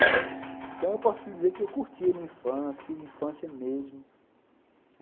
Então, eu posso dizer que eu curti a minha infância, tive infância mesmo.